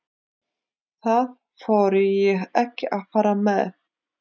Það þori ég ekki að fara með.